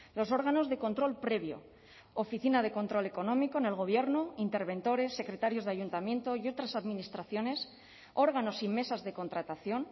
los órganos de control previo oficina de control económico en el gobierno interventores secretarios de ayuntamiento y otras administraciones órganos y mesas de contratación